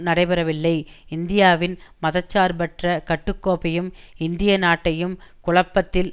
நடைபெறவில்லை இந்தியாவின் மத சார்பற்ற கட்டுக்கோப்பையும் இந்திய நாட்டையும் குழப்பத்தில்